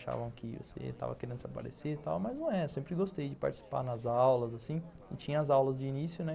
Achavam que você tava querendo se aparecer e tal, mas não é. Eu sempre gostei de participar nas aulas, assim, e tinha as aulas de início, né?